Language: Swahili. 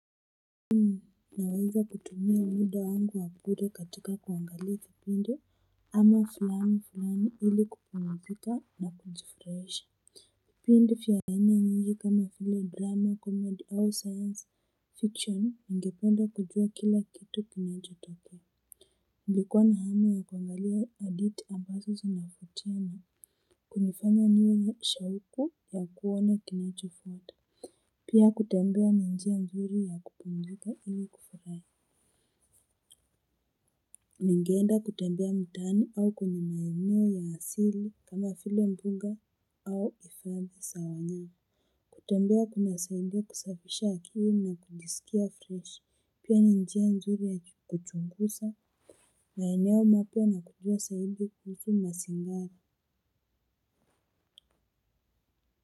Naweza kutumia muda wangu wa bure katika kuangalia kipindi ama fulani fulani ili kupumzika na kujifurahisha vipindi vya aina nyingi kama vile drama comedy au science fiction ningependa kujua kila kitu kinacho tokea. Nilikuwa na hamu ya kuangalia hadithi ambazo zinafutiana kunifanya niwe nishauku ya kuona kinachofuata. Pia kutembea njia mzuri ya kupumzika ili kufurahia ningenda kutembea mtaani au kwa maeneo ya asili kama vile mbuga au hifadhi za wanyama kutembea kuna saidia kusafisha akili na kujisikia fresh pia ni njia nzuri ya kuchunguza maeneo mapya na kujua zaidi na kujua zaidi kuhusu mazingira.